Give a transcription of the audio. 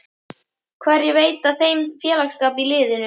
Hverjir veita þeim félagsskap í liðinu?